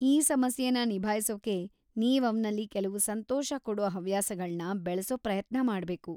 ಈ ಸಮಸ್ಯೆನ ನಿಭಾಯ್ಸೋಕೆ ನೀವ್ ಅವ್ನಲ್ಲಿ ಕೆಲ್ವು ಸಂತೋಷ ಕೊಡೋ ಹವ್ಯಾಸಗಳ್ನ ಬೆಳ್ಸೋ ಪ್ರಯತ್ನ ಮಾಡ್ಬೇಕು.